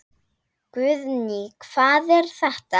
Guðný: Hvað er þetta?